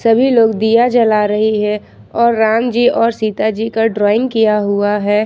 सभी लोग दिया जला रही है और राम जी और सीता जी का ड्राइंग किया हुआ है।